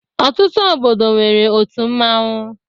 Ọtutu obodo nwere òtụ mmanwu.